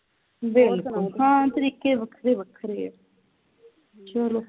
ਹਾਂ ਤਰੀਕੇ ਵੱਖਰੇ ਵੱਖਰੇ ਆ ਚਲੋ